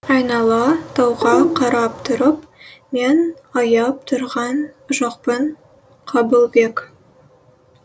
айнала тауға қарап тұрып мен аяп тұрған жоқпын қабылбек